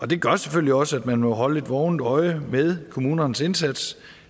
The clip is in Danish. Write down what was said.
det gør selvfølgelig også at man må holde et vågent øje med kommunernes indsats